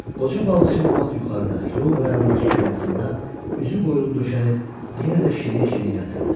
Qoca balıqçı bu vaxt yuxarıda, yol qırağındakı komasında üzü qoyulub döşənib yenə də şirin-şirin yatırdı.